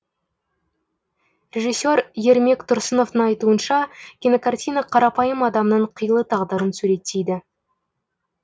режиссер ермек тұрсыновтың айтуынша кинокартина қарапайым адамның қилы тағдырын суреттейді